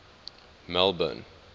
melbourne